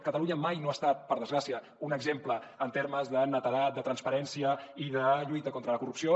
catalunya mai no ha estat per desgràcia un exemple en termes de netedat de transparència i de lluita contra la corrupció